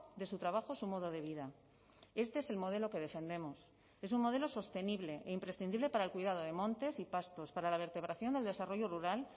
de su trabajo su modo de vida este es el modelo que defendemos es un modelo sostenible e imprescindible para el cuidado de montes y pastos para la vertebración del desarrollo rural